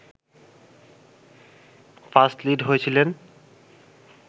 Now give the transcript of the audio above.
first lead হয়েছিলেন